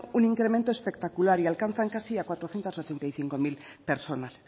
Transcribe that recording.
un incremento espectacular y alcanzan casi a cuatrocientos ochenta y cinco mil personas